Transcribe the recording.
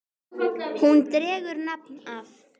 Hún dregur nafn af